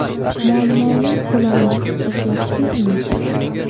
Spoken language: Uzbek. Muammoning ko‘lamini his etyapsizmi?